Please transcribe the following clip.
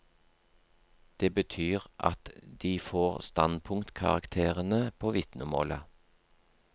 Det betyr at de får standpunktkarakterene på vitnemålet.